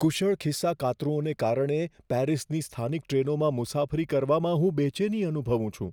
કુશળ ખિસ્સાકાતરુંઓના કારણે પેરિસની સ્થાનિક ટ્રેનોમાં મુસાફરી કરવામાં હું બેચેની અનુભવું છું.